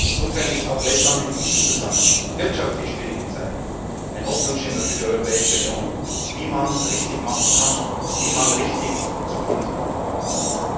Insofern ist auch Lettland in diesem Zusammenhang, in wirtschaftlich schwierigen Zeiten, ein Hoffnungsschimmer für die Europäische Union, wie man es richtig machen kann, wie man richtig Zukunft aufbauen kann.